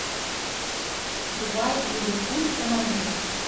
врубай ливерпуль канониры